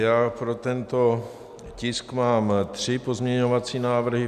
Já pro tento tisk mám tři pozměňovací návrhy.